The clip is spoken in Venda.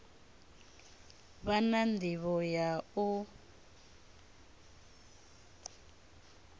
vha na ndivho ya u